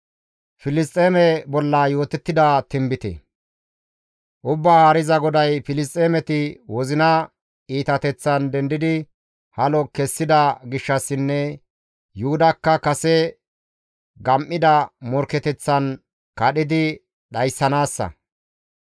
«Ubbaa Haariza GODAY, ‹Filisxeemeti wozina iitateththan dendidi halo kessida gishshassinne Yuhudakka kase gam7ida morkketeththan kadhidi dhayssanaassa.